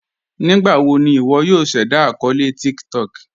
Nígbàwò ní ìwọ̀ yòò ṣẹ̀dá akọọlẹ̀ TikTok?